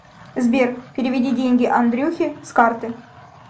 сбер переведи деньги андрюхе с карты